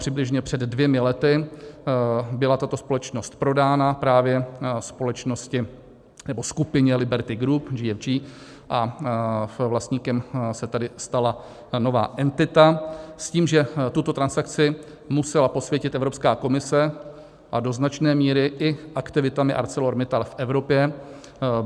Přibližně před dvěma lety byla tato společnost prodána právě společnosti nebo skupině Liberty Group GFG, a vlastníkem se tedy stala nová entita s tím, že tuto transakci musela posvětit Evropská komise a do značné míry i aktivitami ArcelorMittal v Evropě...